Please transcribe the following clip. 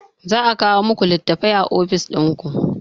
Za a kawo muku litattafai a ofis dinku